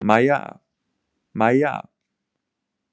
Mæja, Mæja!